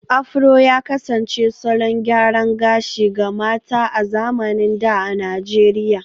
Afro ya kasance salon gyaran gashi ga mata a zamanin da a Najeriya